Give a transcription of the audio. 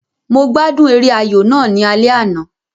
Mo gbádùn eré ayò náà ní alẹ́ àná